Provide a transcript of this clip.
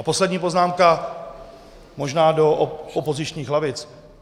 A poslední poznámka možná do opozičních lavic.